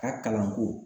A ka kalanko